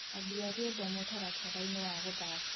ambĩa rwĩmbo mũtarataraĩnĩ wa guthaka